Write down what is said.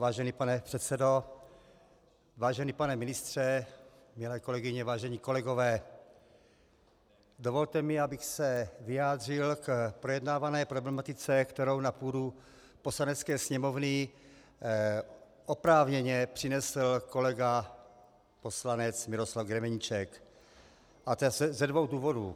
Vážený pane předsedo, vážený pane ministře, milé kolegyně, vážení kolegové, dovolte mi, abych se vyjádřil k projednávané problematice, kterou na půdu Poslanecké sněmovny oprávněně přinesl kolega poslanec Miroslav Grebeníček, a to ze dvou důvodů.